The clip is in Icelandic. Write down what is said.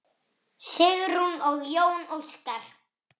Sigrún og Jón Óskar.